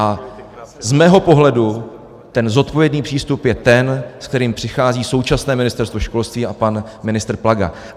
A z mého pohledu ten zodpovědný přístup je ten, se kterým přichází současné Ministerstvo školství a pan ministr Plaga.